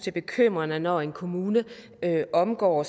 er bekymrende når en kommune omgår